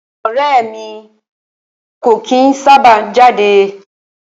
Ọrẹ́ ẹ̀ mi kò kìí sábà jáde.